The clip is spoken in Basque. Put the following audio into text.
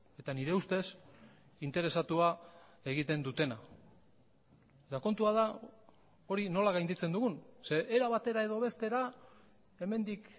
eta nire ustez interesatua egiten dutena eta kontua da hori nola gainditzen dugun zeren era batera edo bestera hemendik